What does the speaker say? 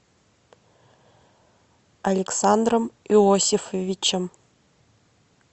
александром иосифовичем